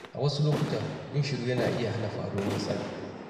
A wasu lokuta, yin shiru yana iya hana faruwar matsala